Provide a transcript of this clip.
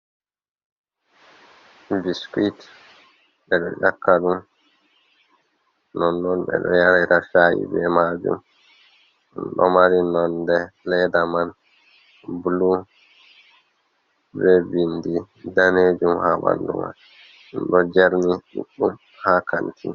Biskuwit ɓe ɗo ƴakka ɗum, nonnon ɓe ɗo yarira ca’i be maajum, ɗo mari nonde leeda man bulu, be binndi daneejum, haa ɓanndu may, ɗo jerni ɗuɗɗum haa kanti.